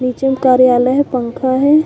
नीचे म कार्यालय हे पंखा हे।